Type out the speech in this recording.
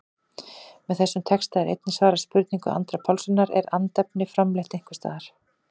Með þessum texta er einnig svarað spurningu Andra Pálssonar, Er andefni framleitt einhvers staðar?